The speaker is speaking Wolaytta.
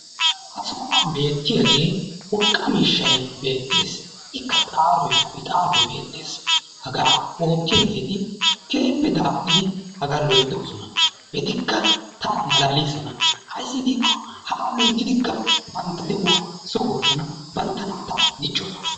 Ha sohuwan beettiyaagee urqa miishay beettes. Ikka xaaroy, kuyixaariy beettes. Hagaa oottiyaageeti keehippe daapuridi hagaa loyittoosona. Etikka tana malaaliisona. Ayissi giikko hagaa loyittidikka bantta de"uwa sugoosona. Bantta naata dichchoosona.